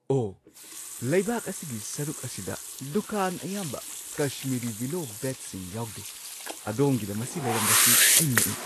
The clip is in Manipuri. ꯑꯣꯍ! ꯂꯩꯕꯥꯛ ꯑꯁꯤꯒꯤ ꯁꯔꯨꯛ ꯑꯁꯤꯗ ꯗꯨꯀꯥꯟ ꯑꯌꯥꯝꯕ ꯀꯁꯃꯤꯔꯤ ꯋꯤꯂꯣ ꯕꯦꯠꯁꯤꯡ ꯌꯥꯎꯗꯦ꯫ ꯑꯗꯣꯝꯒꯤꯗ ꯃꯁꯤ ꯂꯩꯔꯝꯕꯁꯤ ꯑꯩ ꯉꯛꯏ ꯫